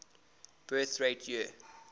birth rate year